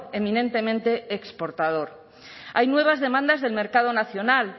eminentemente exportador hay nuevas demandas del mercado nacional